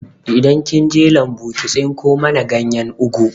Idan kinje lambu ki tsinko mana ganyen ugu